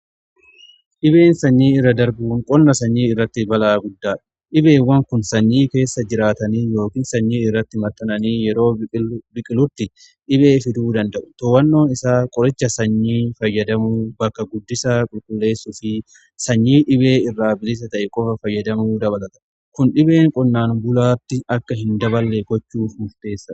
Dhibeen sanyii irra darbuun qonna sanyii irratti balaa guddaadha. Dhibeewwan kun sanyii keessa jiraatanii yookiin sanyii irratti maxxananii yeroo biqilutti dhibee fiduu danda'u to'annoon isaa qoricha sanyii fayyadamu, bakka guddisaa qulqulleessu fi sanyii dhibee irraa bilisa ta'e qofa fayyadamuu dabalata. Kun dhibeen qonnaan bulaatti akka hin daballee gochuuf murteessa.